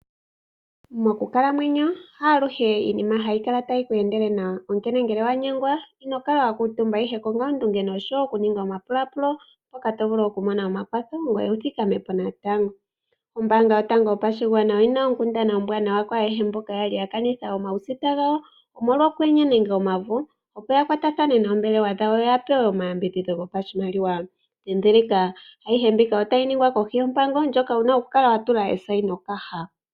Mokukalamwenyo haaluhe iinima hayi kala tayi ku endele nawa, onkene ngele owa nyengwa, ino kala wa kuutumba, ihe konga oondunge noshowo okuninga omapulaapulo mpoka to vulu okumona omakwatho ngoye wu thikame po natango. Ombaanga yotango yopashigwana oyi na onkundana ombwaanawa kwaayehe mboka ya li ya kanitha omausita gawo, omolwa okwenye nenge omavu, opo ya kwatathane noombelewa dhawo ya pewe omayambidhidho gopashimaliwa. Ndhindhilika: Ayihe mbika otayi ningwa kohi yompango ndjoka wu na okukala wa tula eshainokaha.